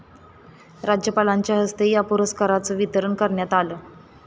राज्यपालांच्या हस्ते या पुरस्काराचं वितरण करण्यात आलं.